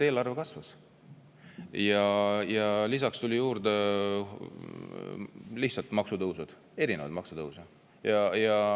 Eelarve kasvas ja lisaks tulid juurde erinevad maksutõusud.